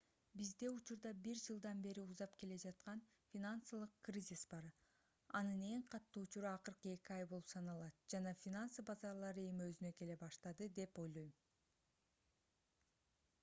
бизде учурда бир жылдан бери узап келе жаткан финансылык кризис бар анын эң катуу учуру акыркы эки ай болуп саналат жана финансы базарлары эми өзүнө келе баштады деп ойлойм